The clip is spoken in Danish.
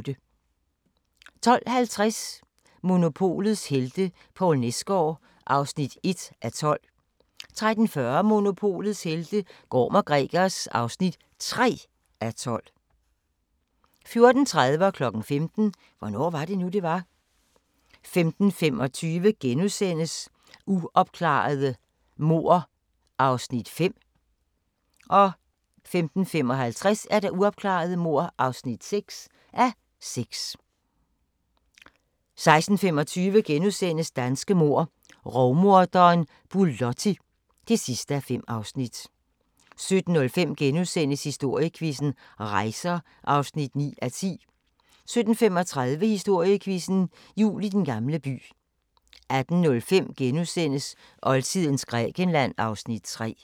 12:50: Monopolets helte - Poul Nesgaard (1:12) 13:40: Monopolets helte - Gorm & Gregers (3:12) 14:30: Hvornår var det nu, det var? 15:00: Hvornår var det nu, det var? 15:25: Uopklarede mord (5:6)* 15:55: Uopklarede mord (6:6) 16:25: Danske mord - Rovmorderen Bulotti (5:5)* 17:05: Historiequizzen: Rejser (9:10)* 17:35: Historiequizzen: Jul i Den Gamle By 18:05: Oldtidens Grækenland (Afs. 3)*